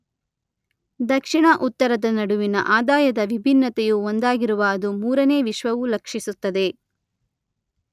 ದಕ್ಷಿಣ, ಉತ್ತರದ ನಡುವಿನ ಆದಾಯದ ವಿಭಿನ್ನತೆಯು ಒಂದಾಗಿರುವ ಅದು ಮೂರನೇ ವಿಶ್ವವು ಲಕ್ಷಿಸುತ್ತದೆ.